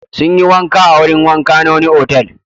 Sun yi wanka a wurin wanka na wani otal.